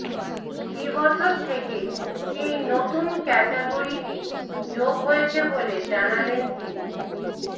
এ বছর থেকেই এই নতুন ক্যাটাগরিটি যোগ হয়েছে বলে জানালেন তিনি